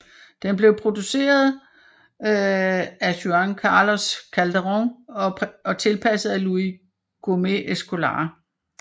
Den blev produceret fa Juan Carlos Calderón og tilpasset af Luis Gomez Escolar